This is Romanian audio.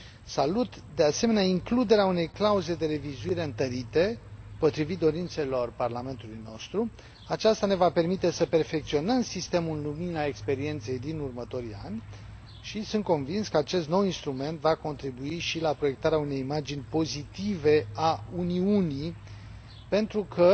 Salut, de asemenea, includerea unei clauze de revizuire întărite, potrivit dorințelor parlamentului nostru aceasta ne va permite să perfecționăm sistemul în lumina experienței din următorii ani și sunt convins că acest nou instrument va contribui și la proiectarea unei imagini pozitive a Uniunii pentru că,